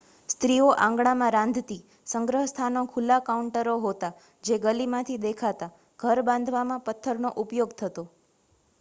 સ્ત્રીઓ આંગણામાં રાંધતી સંગ્રહસ્થાનો ખુલ્લાં કાઉન્ટરો હોતાં જે ગલીમાંથી દેખાતાં ઘર બાંધવામાં પથ્થરનો ઉપયોગ થતો